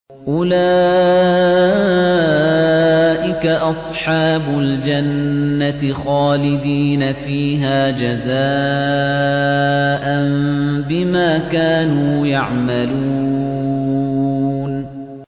أُولَٰئِكَ أَصْحَابُ الْجَنَّةِ خَالِدِينَ فِيهَا جَزَاءً بِمَا كَانُوا يَعْمَلُونَ